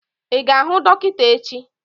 I ga-ahụ dọkịta echi!